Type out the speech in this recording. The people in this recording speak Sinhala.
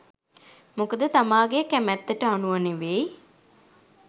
මොකද තමාගේ කැමැත්තට අනුව නෙවෙයි